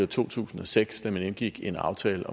to tusind og seks da man indgik en aftale